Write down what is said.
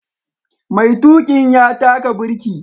Maitukin ya taka birki.